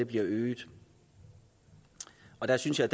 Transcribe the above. bliver øget der synes jeg